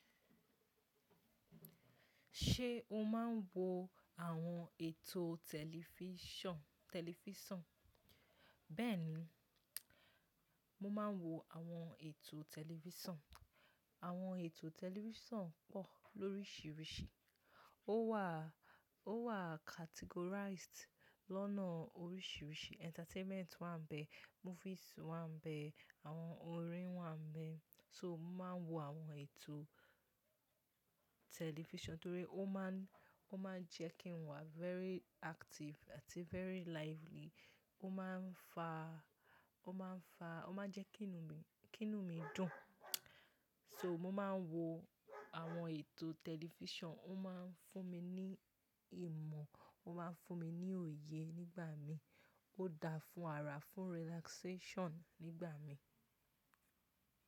Ṣé o máa ń wo àwọn ètò tẹlifísàn? Bẹ́ẹ̀ni, mo máa ń wo àwọn ètò tẹlifísàn. Àwọn ètò tẹlifísàn pọ̀ lóríṣiríṣi. Ó wà, ó wà categorized lọ́nà oríṣiríṣi. Entertainment wà ń bẹ, movies wà ń bẹ, àwọn orin wà ń bẹ. So mo máa ń wo àwọn ètò tẹlifísàn torí ó máa ń, ó máa ń jẹ́ kí n wà very active àti very lively. Ó máa ń fa, ó máa ń fa, ó máa ń jẹ́ kí inú mi, kí inú mi dùn. So mo máa ń wo àwọn ètò tẹlifísàn. Ó máa ń fún mi ní ìmọ̀, ó máa ń fún mi ní òye nígbà mi. Ó dáa fún ara, fún relaxation nígbà mi.